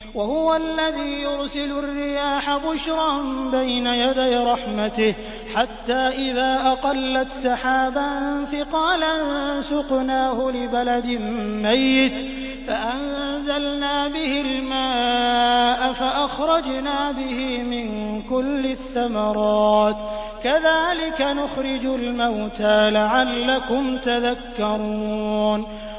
وَهُوَ الَّذِي يُرْسِلُ الرِّيَاحَ بُشْرًا بَيْنَ يَدَيْ رَحْمَتِهِ ۖ حَتَّىٰ إِذَا أَقَلَّتْ سَحَابًا ثِقَالًا سُقْنَاهُ لِبَلَدٍ مَّيِّتٍ فَأَنزَلْنَا بِهِ الْمَاءَ فَأَخْرَجْنَا بِهِ مِن كُلِّ الثَّمَرَاتِ ۚ كَذَٰلِكَ نُخْرِجُ الْمَوْتَىٰ لَعَلَّكُمْ تَذَكَّرُونَ